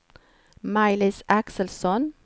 Maj-Lis Axelsson